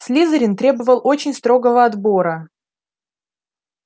слизерин требовал очень строгого отбора